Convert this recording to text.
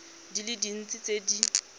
di le dintsi tse di